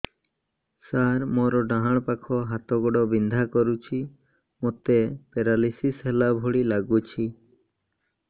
ସାର ମୋର ଡାହାଣ ପାଖ ହାତ ଗୋଡ଼ ବିନ୍ଧା କରୁଛି ମୋତେ ପେରାଲିଶିଶ ହେଲା ଭଳି ଲାଗୁଛି